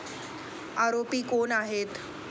आरोपी कोण आहेत?